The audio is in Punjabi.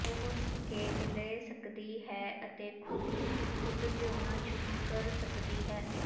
ਉਹ ਸੰਕੇਤ ਲੈ ਸਕਦੀ ਹੈ ਅਤੇ ਖੁਦ ਨੂੰ ਖੁਦ ਲਿਆਉਣਾ ਸ਼ੁਰੂ ਕਰ ਸਕਦੀ ਹੈ